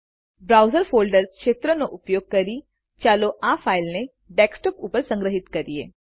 browse folders ક્ષેત્રનો ઉપયોગ કરી ચાલો આ ફાઈલને ડેસ્કટોપ ઉપર સંગ્રહિત કરીએ